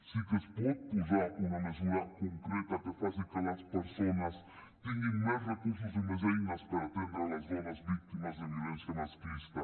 sí que es pot posar una mesura concreta que faci que les persones tinguin més recursos i més eines per atendre les dones víctimes de violència masclista